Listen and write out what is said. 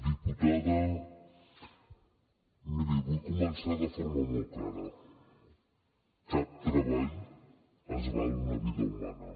diputada miri vull començar de forma molt clara cap treball val una vida humana